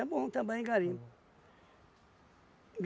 bom trabalhar em garimpo.